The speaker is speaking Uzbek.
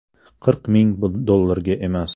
Qirq ming dollarga emas.